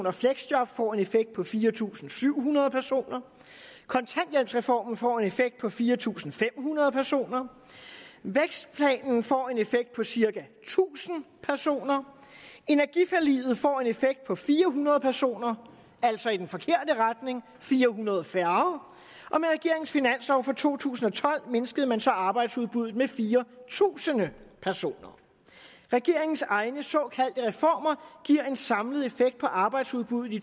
og fleksjob får en effekt på fire tusind syv hundrede personer kontanthjælpsreformen får en effekt på fire tusind fem hundrede personer vækstplanen får en effekt på cirka tusind personer energiforliget får en effekt på fire hundrede personer altså i den forkerte retning fire hundrede færre og med regeringens finanslov for to tusind og tolv mindskede man så arbejdsudbuddet med fire tusind personer regeringens egne såkaldte reformer giver en samlet effekt på arbejdsudbuddet i